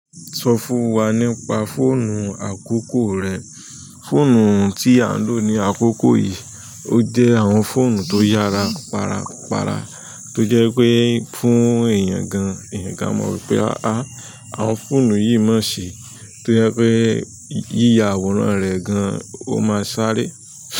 Sọ fún wa nípa fọ́onu àkókò rẹ. Fóònù tí à ń lò ní àkókò yìí, ó jẹ́ àwọn fóònù tó yára para para, tó jẹ́ pé fún èèyàn gan-àn, èèyàn gan-an mọ̀ pé, àá, àwọn fóònù yìí má ṣe, tó jẹ́ pé yíya àwòrán rẹ gan-an, ó máa ṣaré.